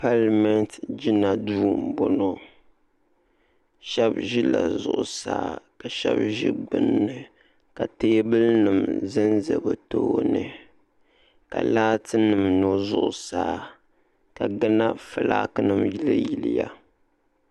palimenti gina duu m boŋɔ shebi ʒila zuɣusaa ka shebi ʒi gbinni ka teebulinima zanza bɛ tooni ka laatinima nyonnyo zuɣusaa ka gana filaaki yili yiliya